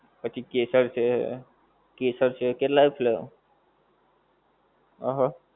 પછી કેસર છે, કેસર છે. કેટલાય flavour અ હ.